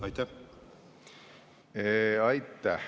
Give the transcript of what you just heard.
Aitäh!